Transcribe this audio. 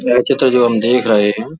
यह चित्र जो हम देख रहे हैं।